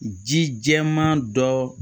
Ji jɛman dɔ